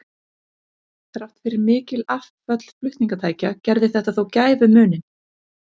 Þrátt fyrir mikil afföll flutningatækja gerði þetta þó gæfumuninn.